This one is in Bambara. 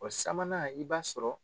O sabanan i b'a sɔrɔ